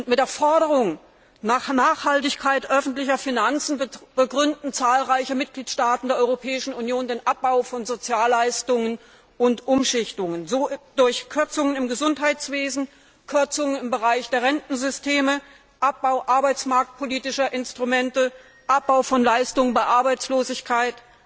Mit der Forderung nach Nachhaltigkeit öffentlicher Finanzen begründen zahlreiche Mitgliedstaaten der Europäischen Union den Abbau von Sozialleistungen und Umschichtungen durch Kürzungen im Gesundheitswesen, Kürzungen im Bereich der Rentensysteme, Abbau arbeitsmarktpolitischer Instrumente, Abbau von Leistungen bei Arbeitslosigkeit,